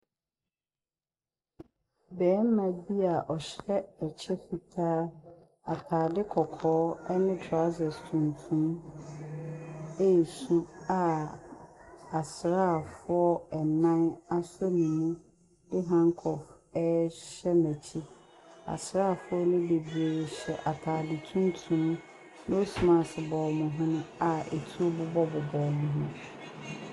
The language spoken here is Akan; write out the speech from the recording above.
Barima bi a ɔhyɛ kyɛ fitaa. Atade kɔkɔɔ ne trousers tuntum resu a asraafoɔ nnan asɔ ne mu de handcuff rehyɛ n'akyi. Asraafoɔ no bebree hyɛ atade tuntum. Nose mask bɔ wɔn hwene a etuo bobɔbobɔ wɔn ho.